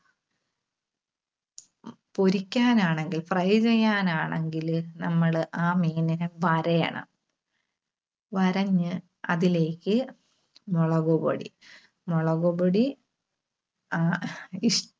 പൊരിക്കാനാണെങ്കിൽ fry ചെയ്യാൻ ആണെങ്കില്, നമ്മള് ആ മീനിനെ വരയണം. വരഞ്ഞ് അതിലേക്ക് മുളകുപൊടി, മുളകുപൊടി ആഹ് ഇഷ്~